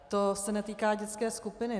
To se netýká dětské skupiny.